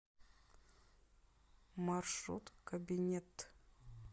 маршрут кабинетъ